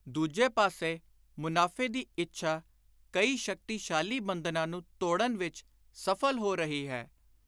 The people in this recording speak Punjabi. ਦੁਜੇ ਪਾਸੇ, ਮਨਾਫ਼ੇ ਦੀ ਇੱਛਾ ਕਈ ਸ਼ਕਤੀਸ਼ਾਲੀ ਬੰਧਨਾਂ ਨੂੰ ਤੋੜਨ ਵਿਚ ਸਫਲ ਹੋ ਰਹੀ ਹੈ।